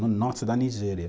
no norte da Nigéria.